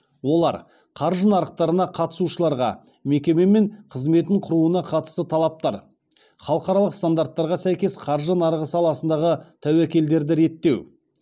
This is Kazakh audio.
олар қаржы нарықтарына қатысушыларға мекеме мен қызметін құруына қатысты талаптар халықаралық стандарттарға сәйкес қаржы нарығы саласындағы тәуекелдерді реттеу